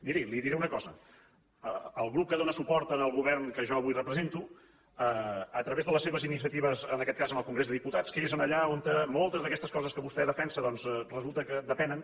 miri li diré una cosa el grup que dóna suport al govern que jo avui represento a través de les seves iniciatives en aquest cas en el congrés de diputats que és allà on moltes d’aquestes coses que vostè defensa doncs resulta que depenen